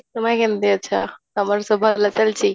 ତୁମେ କେମିତି ଅଛ, ତମର ସବୁ ଭଲ ଚାଲିଛି?